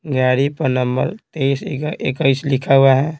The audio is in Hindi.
गाड़ी पर नंबर ए सी का इक्कीस लिखा हुआ है।